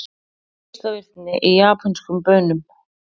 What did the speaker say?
Geislavirkni í japönskum baunum